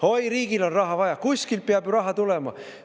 Oi, riigil on raha vaja, kuskilt peab ju raha tulema.